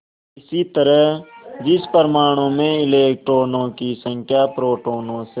इसी तरह जिस परमाणु में इलेक्ट्रॉनों की संख्या प्रोटोनों से